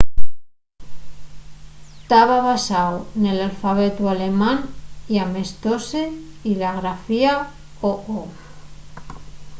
taba basáu nel alfabetu alemán y amestóse-y la grafía õ/õ